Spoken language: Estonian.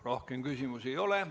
Rohkem küsimusi ei ole.